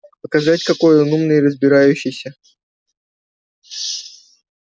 показать какой он умный и разбирающийся